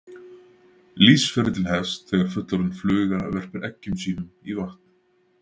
Lífsferillinn hefst þegar fullorðin fluga verpir eggjum sínum í vatn.